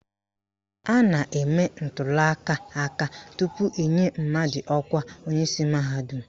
A na-eme ntuliaka aka tupu enye mmadụ ọkwa onyeisi mahadum.